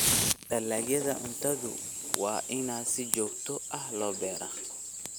Dalagyada cuntada waa in si joogto ah loo beeraa.